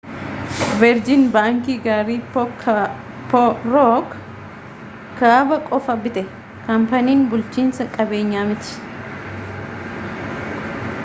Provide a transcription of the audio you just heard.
veerjin baankii gaarii' rook kaabaa qofa bite kaampaanii bulchiinsa qabeenyaa miti